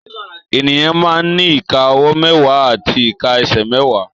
Ènìyàn máa ń ní ìka ọwọ́ mẹ́wàá àti ìka ẹsẹ̀ mẹ́wàá